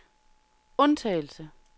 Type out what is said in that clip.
undtagelse